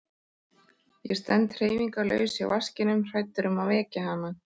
Ég stend hreyfingarlaus hjá vaskinum hræddur um að vekja hana.